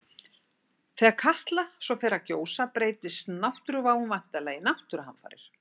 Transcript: Þegar Katla svo fer að gjósa breytist náttúruváin væntanlega í náttúruhamfarir.